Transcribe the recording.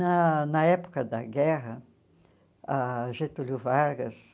Na na época da guerra, ah Getúlio Vargas